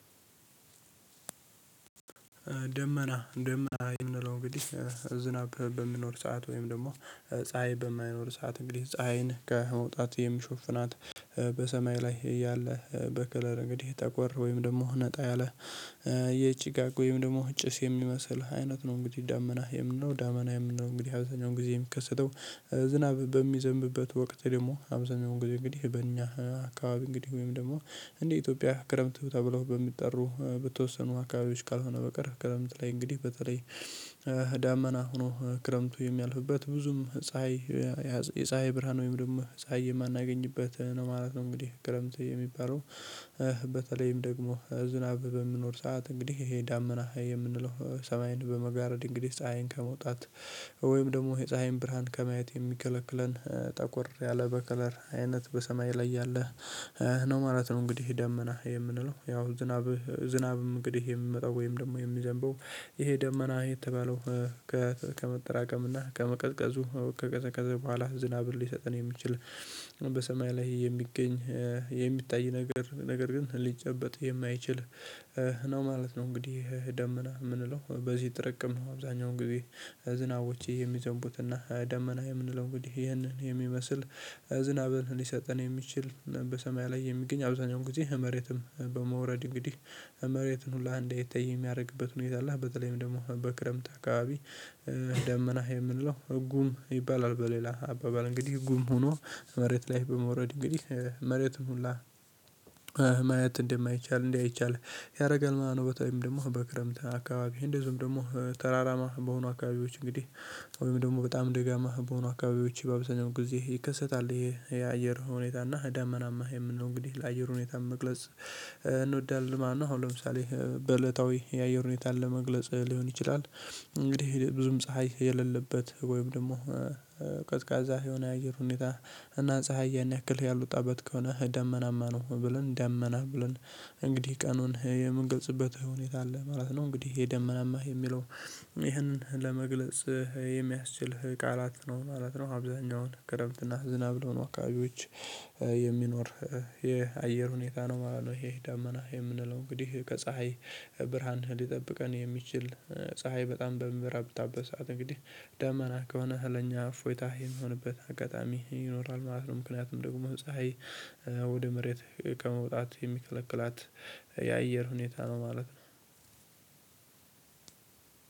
ደመና ደመና የምንለው እንግዲህ ዝናብ በሚኖር ሰዓት ወይም ደግሞ ፀሀይ በማይኖር ሰዓት እንግዲህ ፀሀይን ከመውጣት የሚሸፍናት በሰማይ ላይ እያለ በከለር እንግዲህ ጠቆር ወይም ደግሞ ነጣ ያለህ የጭጋግ ወይም ደግሞ ጭስ የሚመስልህ አይነት ነው። እንግዲህ ደመና የምንለው ደመና የምንለው እንግዲህ ሀብተኛውን ጊዜ የሚከሰተው ዝናብ በሚዘንብበት ወቅት ደግሞ አብዛኛው እንግዲህ በእኛ አካባቢ እንግዲህ ወይም ደግሞ እንዴ ኢትዮጵያ ክረምት ተብለው በሚጠሩ በተወሰኑ አካባቢዎች ካልሆነ በቀር ክረምት ላይ እንግዲህ በተለይ ዳመና ሆኖ ክረምቱ የሚያልፍበት ብዙም ፀሀይ የፀሀይ ብርሃን ወይም ደግሞ ፀሀይ የማናገኝበት ነው ማለት ነው እንግዲህ ክረምት የሚባለው። በተለይም ደግሞ ዝናብ በሚኖር ሰዓት እንግዲህ ይሄ ዳመና የምንለው ሰማይን በመጋረድ እንግዲህ ፀሀይን ከመውጣት ወይም ደግሞ የፀሀይን ብርሃን ከማየት የሚከለክለን ጠቆር ያለ በከለር አይነት በሰማይ ላይ ያለህ ነው ማለት ነው። እንግዲህ ደመና የምንለው ያው ዝናብህ ዝናብም እንግዲህ የምመጣው ወይም ደግሞ የሚዘንበው ይሄ ደመና የተባለው ከመጠራቀም እና ከመቀዝቀዙ ከቀዘቀዘበው በኋላ ዝናብር ሊሰጥን የሚችል በሰማይ ላይ የሚገኝ የሚታይ ነገር ነገር ግን ሊጨበጥ የማይችል ነው ማለት ነው። እንግዲህ ደመና የምንለው በዚህ ትርቅም ነው አብዛኛው እንግዲህ ዝናቦቼ የሚዘንቡትና ደመና የምንለው እንግዲህ ይህንን የሚመስል ዝናብን ሊሰጥን የሚችል በሰማይ ላይ የሚገኝ አብዛኛውን ጊዜ መሬትም በመውረድ እንግዲህ መሬትን ሁላ እንዳይታይ የሚያደርግበት ሁኔታ አለ። በተለይም ደግሞ በክረምት አካባቢ ደመና የምንለው ጉም ይባላል። በሌላ አባባል እንግዲህ ጉም ሆኖ መሬት ላይ በመውረድ እንግዲህ መሬትን ሁላ እንደማይቻል እንዲህ አይቻል ያደርጋል። ምናምን በተለይም ደግሞ በክረምት አካባቢ እንደዚሁም ደግሞ ተራራማ በሆኑ አካባቢዎች እንግዲህ ወይም ደግሞ በጣም ደጋማ በሆኑ አካባቢዎች በአብዛኛው ጊዜ ይከሰታል። ይሄ የአየር ሁኔታ እና ደመናማ የምንለው እንግዲህ ለአየር ሁኔታ መግለጽ እንወዳለን ማለት ነው። አሁን ለምሳሌ የአየር ሁኔታን ለመግለጽ ሊሆን ይችላል። እንግዲህ ብዙም ፀሀይ የሌለበት ወይም ደግሞ ቀዝቃዛ የሆነ የአየር ሁኔታ እና ፀሀይ ያን ያክል ያል ወጣበት ከሆነ ደመናማ ነው ብለን ደመና ብለን እንግዲህ ቀኑን የምንገልጽበት ሁኔታ አለ ማለት ነው። እንግዲህ የደመናማ የሚለው ይህንን ለመግለጽ የሚያስችል ቃላት ነው ማለት ነው። አብዛኛውን ክረምትና ዝናብ ለሆኑ አካባቢዎች የሚኖር የአየር ሁኔታ ነው ማለት ነው። ይሄ ዳመና የምንለው እንግዲህ ከፀሀይ ብርሃን ሊጠብቀን የሚችል ፀሀይ በጣም በሚበረታበት ሰዓት እንግዲህ ደመና ከሆነ ለኛ እፎይታ የሚሆንበት አጋጣሚ ይኖራል ማለት ነው። ምክንያቱም ደግሞ ፀሀይ ወደ መሬት ከመውጣት የሚከለክላት የአየር ሁኔታ ነው ማለት ነው።